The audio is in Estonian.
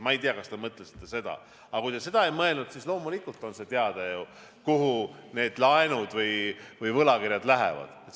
Ma ei tea, kas te mõtlesite seda, aga kui te seda ei mõelnud, siis loomulikult on see teada, kuhu need laenud või võlakirjad lähevad.